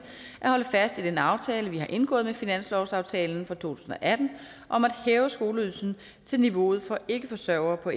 at holde fast i den aftale vi har indgået med finanslovsaftalen for to tusind og atten om at hæve skoleydelsen til niveauet for ikkeforsørgere på